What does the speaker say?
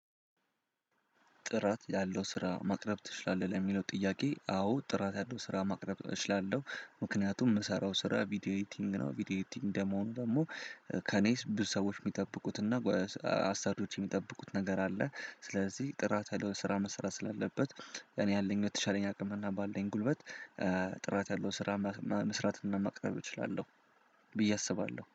ጥራት ያለው ስራ ማቅረብ ትችላለህ? ለሚለው ጥያቄ አዎ ጥራት ያለው ስራ ማቅረብ እችላለሁ። ምክንያቱም ምሰራው ስራ ቪዲዮ ኤዲቲንግ ነው ቪዲዮ ኤዲቲንግ ደግሞ ደግሞ ከኔ ብዙ ሰዎች የሚጠብቁትና አሳጆች የሚጠብቁት ነገር አለ። ስለዚህ ጥራት ያለው ስራ መስራት ስላለበት እኔ ያለኝ የተሻለ አቅምና ባለኝ ጉልበት ጥራት ያለው ስራ መስራትና ማቅረብ እችላለሁ። ብዬ አስባለሁ